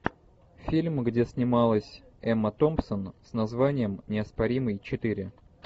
фильм где снималась эмма томпсон с названием неоспоримый четыре